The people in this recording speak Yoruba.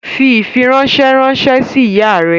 Fi ifiranṣẹ ranṣẹ si iya rẹ!